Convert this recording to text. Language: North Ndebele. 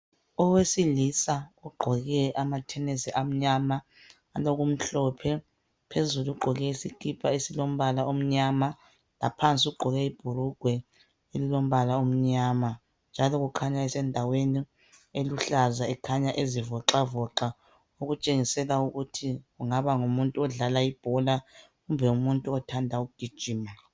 Owesilisa ogqoke amathenesi amnyama alokumhlophe phezulu ugqoke isikipa esilombala omnyama ngaphansi ugqoke ibhulugwe elilombala omnyama njalo kukhanya esendaweni eluhlaza ekhanya ezivoxavoxa okutshengisela ukuthi kungaba ngumuntu odlala ibhola kumbe umuntu othanda ukugijima.